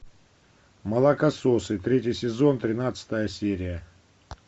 молокососы третий сезон тринадцатая серия